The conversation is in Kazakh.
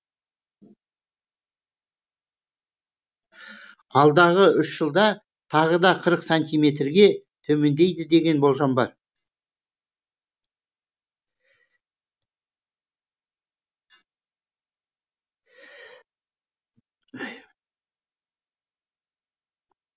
алдағы үш жылда тағы да қырық сантиметрге төмендейді деген болжам бар